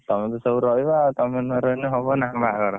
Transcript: ତମେ ତ ସବୁ ରହିବ ଆଉ ତମେ ନ ରହିଲେ ହବ ନା ବାହାଘର